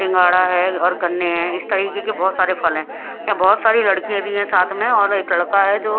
सिंघाड़ा है और गन्ने हैं इस तरीके के बहोत से फल है यहां बहोत सारी लड़कियां भी है साथ में और एक लड़का है जो--